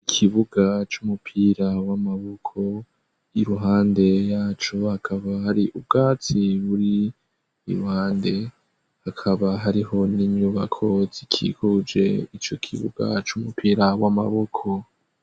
ikibuga c'umupira w'amaboko iruhande yaco akaba hari ubwatsi buri iruhande hakaba hariho n'inyubako zikikuje ico kibuga c'umupira w'amaboko